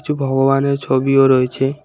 কিছু ভগবানের ছবিও রয়েছে।